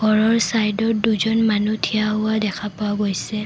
ঘৰৰ ছাইডত দুজন মানুহ থিয়া হোৱা দেখা পোৱা গৈছে।